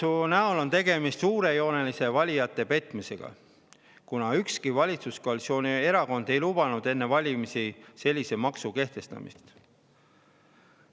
Automaksu näol on tegemist suurejoonelise valijate petmisega, kuna ükski valitsuskoalitsiooni erakond ei lubanud enne valimisi sellise maksu kehtestamist.